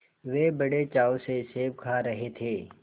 वे बड़े चाव से सेब खा रहे थे